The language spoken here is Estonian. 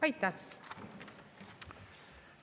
Aitäh!